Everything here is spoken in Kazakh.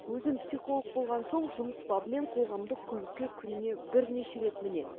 өзім психолог болған соң жұмыс бабымен қоғамдық көлікке күніне бірнеше рет мінем